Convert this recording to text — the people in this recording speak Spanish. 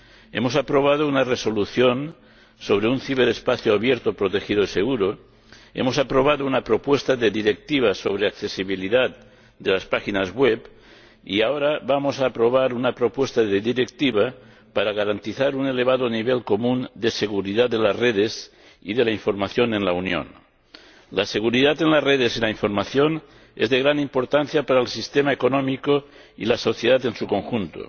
Hemos aprobado una Resolución sobre un ciberespacio abierto, protegido y seguro, hemos aprobado una propuesta de Directiva sobre la accesibilidad de las páginas web y, ahora, vamos a aprobar una propuesta de Directiva para garantizar un elevado nivel común de seguridad de las redes y de la información en la Unión. La seguridad en las redes y la información es de gran importancia para el sistema económico y la sociedad en su conjunto.